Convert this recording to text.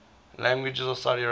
languages of saudi arabia